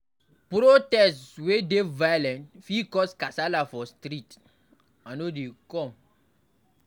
Protest wey dey violent fit cause kasala for street, I no dey come